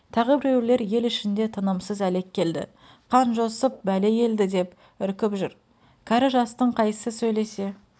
тағы біреулер ел ішіне тынымсыз әлек келді қанжосып бәле келді деп үркіп жүр кәрі-жастың қайсысы сөйлесе